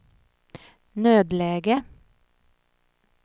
nödläge